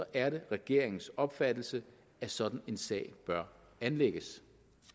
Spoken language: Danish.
er det regeringens opfattelse at sådan en sag bør anlægges